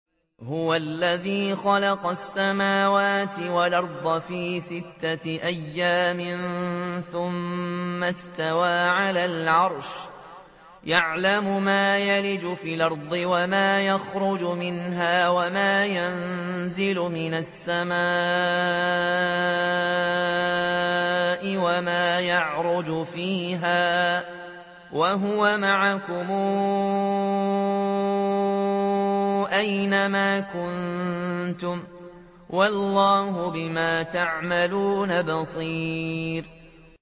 هُوَ الَّذِي خَلَقَ السَّمَاوَاتِ وَالْأَرْضَ فِي سِتَّةِ أَيَّامٍ ثُمَّ اسْتَوَىٰ عَلَى الْعَرْشِ ۚ يَعْلَمُ مَا يَلِجُ فِي الْأَرْضِ وَمَا يَخْرُجُ مِنْهَا وَمَا يَنزِلُ مِنَ السَّمَاءِ وَمَا يَعْرُجُ فِيهَا ۖ وَهُوَ مَعَكُمْ أَيْنَ مَا كُنتُمْ ۚ وَاللَّهُ بِمَا تَعْمَلُونَ بَصِيرٌ